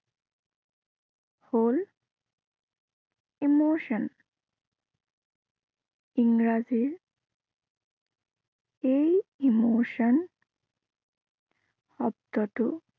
হল emotion ইংৰাজীৰ এই emotion শব্দটো